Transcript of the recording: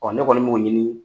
ne kɔni m'o ɲini